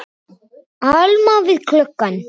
Alma við gluggann.